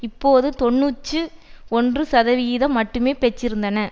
இப்பொழுது தொன்னூற்றி ஒன்று சதவிகிதம் மட்டுமே பெற்றன